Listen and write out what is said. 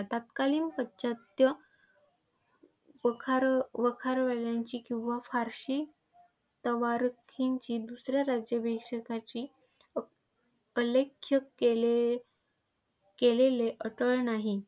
तात्कालिन पाश्चात्य वखार वखारवाल्यांची किंवा फारसी अर्वाचीन जी दुसऱ्या राज्याभिषेकाची केले केलेले अटळ नाही.